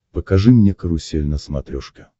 покажи мне карусель на смотрешке